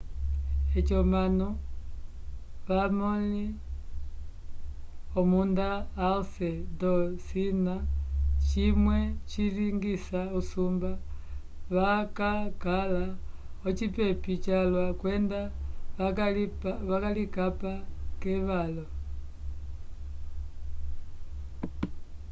eci omanu avamõli omunda alce ndocina cimwe cilingisa usumba vakakala ocipepi calwa kwenda vakalikapa k'evalo